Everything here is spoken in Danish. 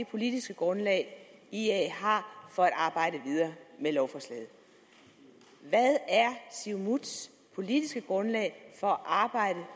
politiske grundlag ia har for at arbejde videre med lovforslaget hvad er siumuts politiske grundlag for at arbejde